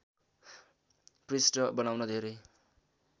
पृष्ठ बनाउन धेरै